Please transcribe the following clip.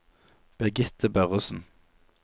Birgitte Børresen